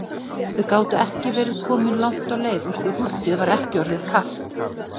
Þau gátu ekki verið komin langt á leið úr því húddið var ekki orðið kalt.